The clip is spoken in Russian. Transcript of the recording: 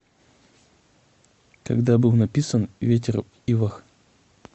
когда был написан ветер в ивах